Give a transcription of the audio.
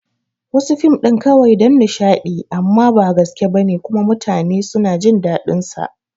Wasu fim ɗin kawai dan nishadi amma ba gaske bane kuma mutanen suna jin dadin sa